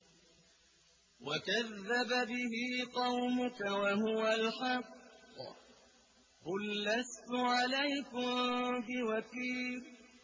وَكَذَّبَ بِهِ قَوْمُكَ وَهُوَ الْحَقُّ ۚ قُل لَّسْتُ عَلَيْكُم بِوَكِيلٍ